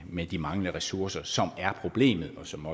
med de manglende ressourcer som er problemet som